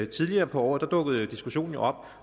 tidligere på året dukkede diskussionen jo op